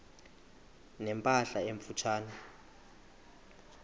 ne mpahla emfutshane